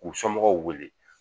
K'u somɔgɔw wele